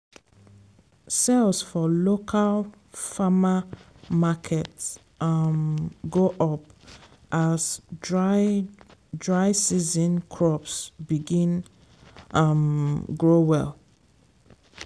sales for local farmer market um go up as dry dry season crops begin um grow well.